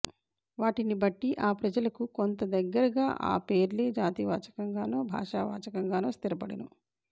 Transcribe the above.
వాటిని బట్టి ఆ ప్రజలకు కొంత దగ్గరగా ఆ పేర్లే జాతి వాచకంగానో భాషా వాచకంగానో స్థిరపడును